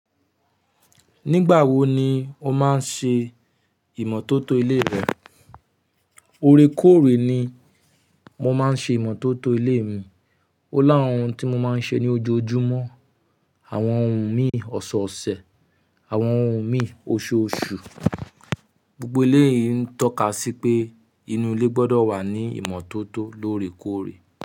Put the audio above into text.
Nígbà wo ni o máa ń ṣe ìmọ́tótó ilé rẹ? Ore kóòrè ni mo máa ń ṣe ìmọ́tótó ilé mi. Ó lá àwọn ohun tí mo máa ń ṣe ní ojoojúmọ́, àwọn ohun mi ọ̀ṣọ̀ọ̀ṣẹ̀, àwọn ohun mi oṣooṣù. Gbogbo eleyii n toka si pe inu ile gbodo wa ni imototo l'oore koore.